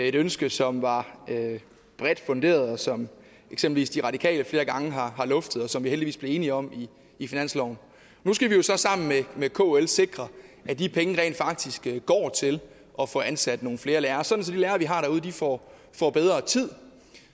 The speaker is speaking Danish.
et ønske som var bredt funderet og som eksempelvis de radikale flere gange har luftet og som vi heldigvis blev enige om i finansloven nu skal vi jo så sammen med kl sikre at de penge rent faktisk går til at få ansat nogle flere lærere sådan at vi har derude får bedre tid og